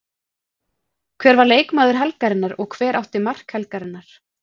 Hver var leikmaður helgarinnar og hver átti mark helgarinnar?